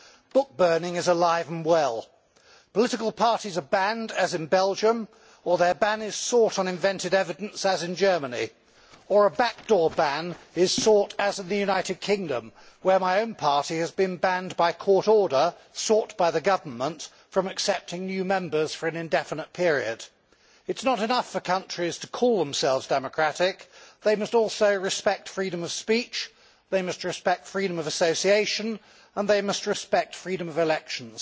Book burning is alive and well. Political parties are banned, as in Belgium, or their ban is sought on invented evidence, as in Germany, or a backdoor ban is sought, as in the United Kingdom, where my own party has been banned, by a court order sought by the government, from accepting new members for an indefinite period. It is not enough for countries to call themselves democratic they must also respect freedom of speech, they must respect freedom of association and they must respect freedom of elections.